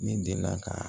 Ne delila ka